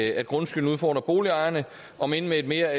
at grundskylden udfordrer boligejerne om end med et mere